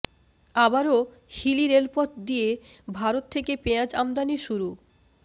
আবারও হিলি রেলপথ দিয়ে ভারত থেকে পেঁয়াজ আমদানি শুরু